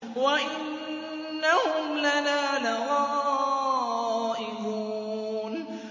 وَإِنَّهُمْ لَنَا لَغَائِظُونَ